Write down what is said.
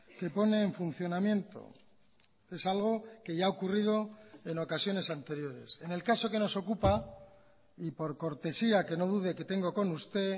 que pone en funcionamiento es algo que ya ha ocurrido en ocasiones anteriores en el caso que nos ocupa y por cortesía que no dude que tengo con usted